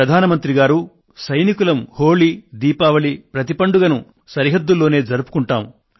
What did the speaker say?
ప్రధాన మంత్రి గారూ సైనికులం హోళి దీపావళి ప్రతి పండుగను సరిహద్దుల్లోనే జరుపుకొంటాము